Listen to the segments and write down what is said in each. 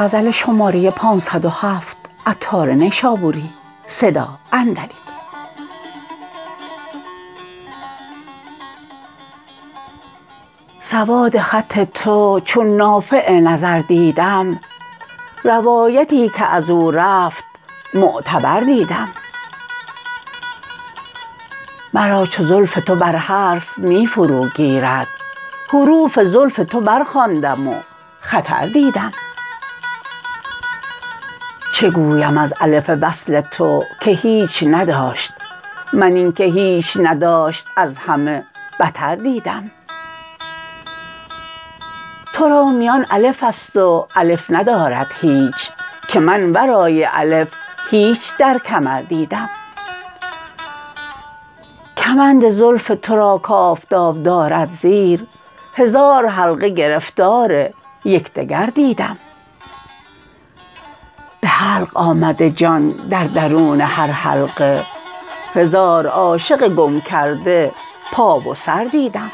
سواد خط تو چون نافع نظر دیدم روایتی که ازو رفت معتبر دیدم مرا چو زلف تو بر حرف می فرو گیرد حروف زلف تو برخواندم و خطر دیدم چه گویم از الف وصل تو که هیچ نداشت من اینکه هیچ نداشت از همه بتر دیدم تو را میان الف است و الف ندارد هیچ که من ورای الف هیچ در کمر دیدم کمند زلف تورا کافتاب دارد زیر هزار حلقه گرفتار یکدگر دیدم به حلق آمده جان در درون هر حلقه هزار عاشق گم کرده پا و سر دیدم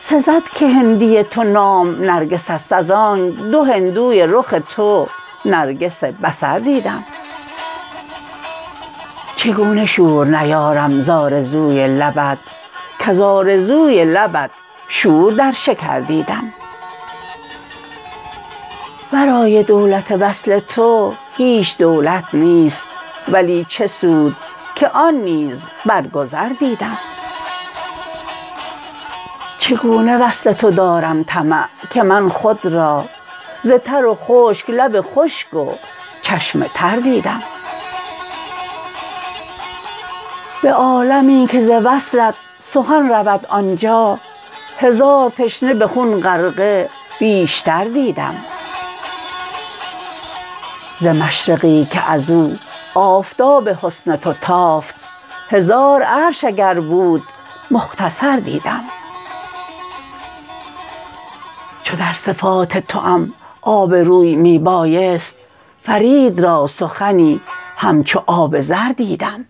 سزد که هندی تو نام نرگس است از آنک دو هندوی رخ تو نرگس بصر دیدم چگونه شور نیارم ز آرزوی لبت کز آرزوی لبت شور در شکر دیدم ورای دولت وصل تو هیچ دولت نیست ولی چه سود که آن نیز برگذر دیدم چگونه وصل تو دارم طمع که من خود را ز تر و خشک لب خشک و چشم تر دیدم به عالمی که ز وصلت سخن رود آنجا هزار تشنه به خون غرقه بیشتر دیدم ز مشرقی که ازو آفتاب حسن تو تافت هزار عرش اگر بود مختصر دیدم چو در صفات توام آبروی می بایست فرید را سخنی همچو آب زر دیدم